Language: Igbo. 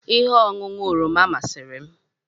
Ihe ọṅụṅụ oroma masịrị m